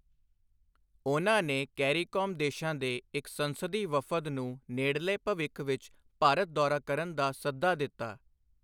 ਉਨ੍ਹਾਂ ਨੇ ਕੈਰੀਕੌਮ ਦੇਸ਼ਾਂ ਦੇ ਇੱਕ ਸੰਸਦੀ ਵਫਦ ਨੂੰ ਨੇੜਲੇ ਭਵਿੱਖ ਵਿੱਚ ਭਾਰਤ ਦੌਰਾ ਕਰਨ ਦਾ ਸੱਦਾ ਦਿੱਤਾ।